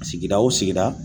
Sigida o sigida